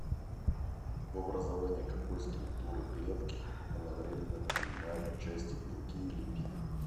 в образовании какой структуры клетки одновременно принимают участие белки и липиды